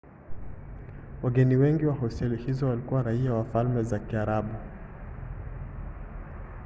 wageni wengi wa hosteli hizo walikuwa raia wa falme za kiarabu